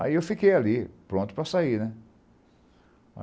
Aí eu fiquei ali, pronto para sair, né?